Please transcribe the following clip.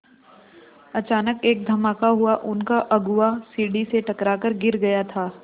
अचानक एक धमाका हुआ उनका अगुआ सीढ़ी से टकरा कर गिर गया था